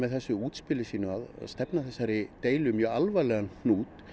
þessu útspili sínu að stefna þessari deilu í mjög alvarlegan hnút